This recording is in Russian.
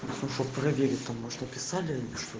написали